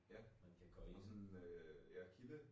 Ja. Nåh sådan en øh ja kilde